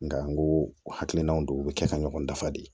Nka n go o hakilinaw don u bɛ kɛ ka ɲɔgɔn dafa de